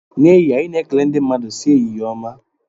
N'ehihie anyị na-ekele ndị mmadụ sị "ehihie ọma"